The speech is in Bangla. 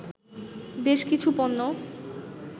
বেশ কিছু পণ্য